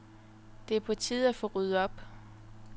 Det er på tide at få ryddet op.